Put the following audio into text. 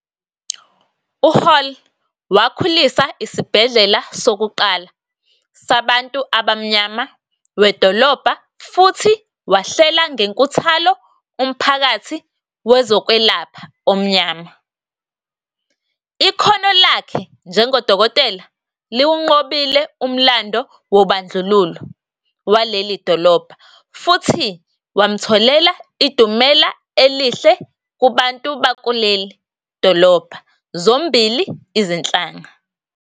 UHall wakhulisa isibhedlela sokuqala sabantu abamnyama wedolobha futhi wahlela ngenkuthalo umphakathi wezokwelapha omnyama. Ikhono lakhe njengodokotela liwunqobile umlando wobandlululo waleli dolobha futhi wamtholela idumela elihle kubantu bakuleli dolobha zombili izinhlanga.